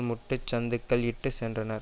முட்டுச் சந்துக்கள் இட்டு சென்றனர்